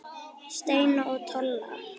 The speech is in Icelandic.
Steina og Tolla?